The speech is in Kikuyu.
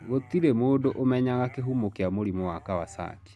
Gũtirĩ mũndũ ũmenyaga kĩhumo kĩa mũrimũ wa Kawasaki.